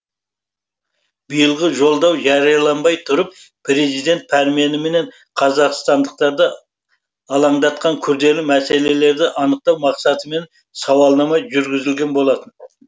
биылғы жолдау жарияланбай тұрып президент пәрменімен қазақстандықтарды алаңдатқан күрделі мәселелерді анықтау мақсатымен сауалнама жүргізілген болатын